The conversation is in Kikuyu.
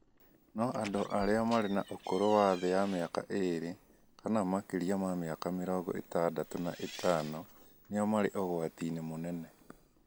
no andũ arĩa marĩ na ũkũrũ wa thĩ ya mĩaka ĩĩrĩ kana makĩria ma mĩaka mĩrongo ĩtandatũ na ĩtano nĩo marĩ ũgwati-inĩ mũnene.